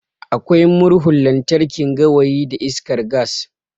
Akwai Murhun lantarki, gawayi da iskar gas.